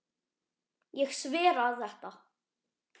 Ég sver að þetta.